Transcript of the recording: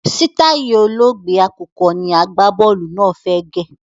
Sitai olóògbé àkùkọ ni agbá-bọ́ọ́lù náà fẹ́ gẹ̀.